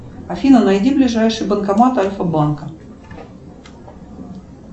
афина найди ближайший банкомат альфа банка